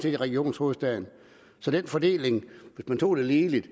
er i region hovedstaden så den fordeling hvis man tog det ligeligt